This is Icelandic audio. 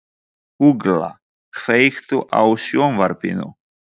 Ugla, kveiktu á sjónvarpinu.